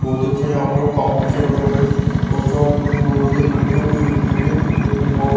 बहुत अच्छा यहां पर काम भी चल रहा है और चार बहुत हुई है चने बहुत--